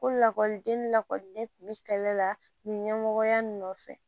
Ko lakɔliden lakɔliden kun be kɛlɛ la nin ɲɛmɔgɔya nɔfɛ